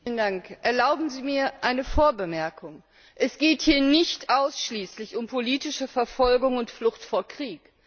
Herr Präsident! Erlauben Sie mir eine Vorbemerkung. Es geht hier nicht ausschließlich um politische Verfolgung und Flucht vor Krieg.